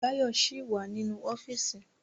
Báyọ̀ ṣì wà nínú ọ́fíìsì